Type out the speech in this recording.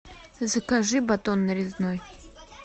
закажи батон нарезной